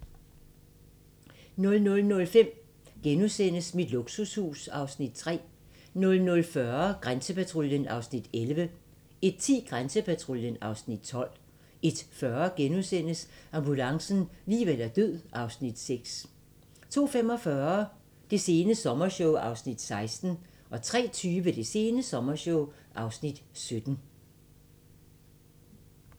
00:05: Mit luksushus (Afs. 3)* 00:40: Grænsepatruljen (Afs. 11) 01:10: Grænsepatruljen (Afs. 12) 01:40: Ambulancen - liv eller død (Afs. 8)* 02:45: Det sene sommershow (Afs. 16) 03:20: Det sene sommershow (Afs. 17)